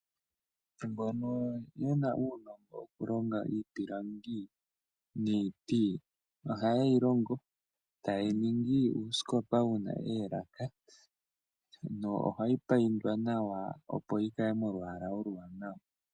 Aantu mbono yena uunongo wokulonga iipilangi niiti ohaye yi longo etaye yi ningi uusikopa wuna oolaka. Ohayi paindwa nawa opo yi kale molwaala oluwanawa.